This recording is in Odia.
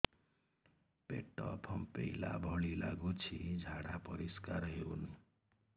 ପେଟ ଫମ୍ପେଇଲା ଭଳି ଲାଗୁଛି ଝାଡା ପରିସ୍କାର ହେଉନି